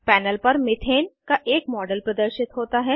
panel पर methane का एक मॉडल प्रदर्शित होता है